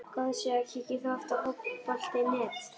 Góð síða Kíkir þú oft á Fótbolti.net?